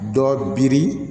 Dɔ biri